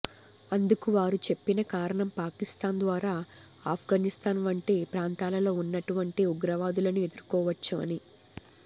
అందుకు వారు చెప్పిన కారణం పాకిస్తాన్ ద్వారా ఆప్ఘనిస్తాన్ వంటి ప్రాంతాలలో వున్నటువంటి ఉగ్రవాదులను ఎదుర్కోవచ్చు అని